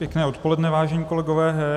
Pěkné odpoledne vážení kolegové.